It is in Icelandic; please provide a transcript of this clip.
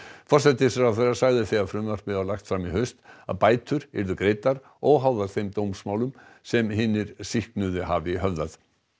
forsætisráðherra sagði þegar frumvarpið var lagt fram í haust að bætur yrðu greiddar óháðar þeim dómsmálum sem hinir sýknuðu hafi höfðað